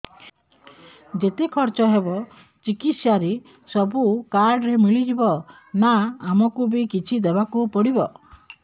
ଯେତେ ଖର୍ଚ ହେବ ଚିକିତ୍ସା ରେ ସବୁ କାର୍ଡ ରେ ମିଳିଯିବ ନା ଆମକୁ ବି କିଛି ଦବାକୁ ପଡିବ